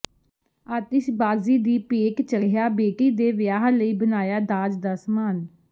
ਆਤਿਸ਼ਬਾਜ਼ੀ ਦੀ ਭੇਟ ਚੜਿ੍ਹਆ ਬੇਟੀ ਦੇ ਵਿਆਹ ਲਈ ਬਣਾਇਆ ਦਾਜ ਦਾ ਸਮਾਨ